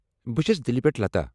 بہ چھس دلہ پٮ۪ٹھٕ لتا۔